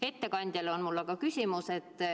Ettekandjale on mul aga küsimus.